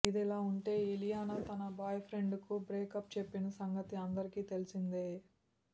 ఇదిలా ఉంటే ఇలియానా తన బాయ్ ఫ్రెండ్ కు బ్రేకప్ చెప్పిన సంగతి అందరికి తెలిసిందే